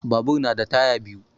Babur na da taya biyu